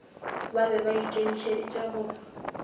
ba be ba ikemišeditše go